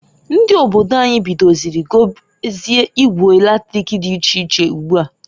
Ndi obodo anyi bidoziri gobezie ngwa latrik di iche iche ugboa.